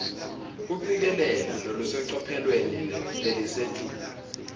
kucikelela lolusecophelweni lelisetulu